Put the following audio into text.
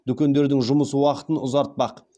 дүкендердің жұмыс уақытын ұзартпақ